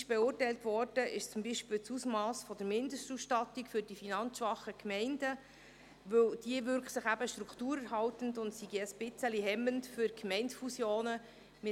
Kritisch beurteilt wurde beispielsweise das Ausmass der Mindestausstattung für die finanzschwachen Gemeinden, weil diese sich strukturerhaltend auswirkt und ein bisschen hemmend für Gemeindefusionen sei.